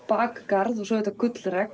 bakgarð og auðvitað